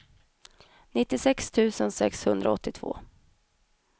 nittiosex tusen sexhundraåttiotvå